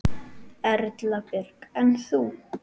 Erla Björg: En þú?